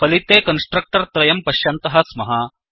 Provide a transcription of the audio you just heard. फलिते कन्स्ट्रख्तर् त्रयं पश्यन्तः स्मः